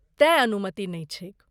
तेँ अनुमति नहि छैक।